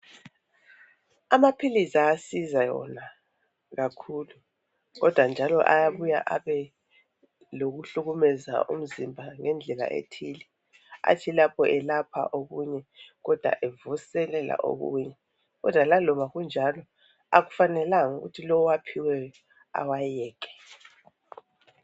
Amaphilizi ayasiza wona kakhulu kodwa njalo ayabuya abe lokuhlukumeza umzimba ngendlela ethile athi lapho elapha okunye kodwa evuselela okunye kodwa laloba kunjalo akufanelanga ukuthi lowo owaphiweyo awayeke.